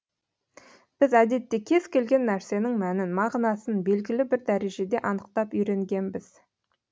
біз әдетте кез келген нәрсенің мәнін мағынасын белгілі бір дәрежеде анықтап үйренгенбіз